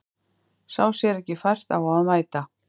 Sá sér ekki fært á að mæta